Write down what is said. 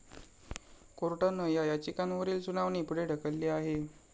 कोर्टानं या याचिकांवरील सुनावणी पुढे ढकलली आहे.